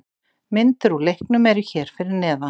Myndir úr leiknum eru hér fyrir neðan